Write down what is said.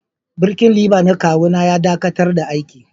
Birkin liba na kawu na ya dakatar da aiki.